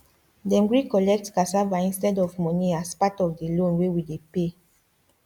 dem gree collect cassava instead of money as part of the loan wey we dey pay